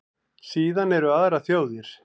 Síðan eru aðrar þjóðir.